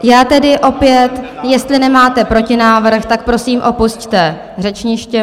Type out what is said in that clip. Já tedy opět, jestli nemáte protinávrh, tak prosím, opusťte řečniště.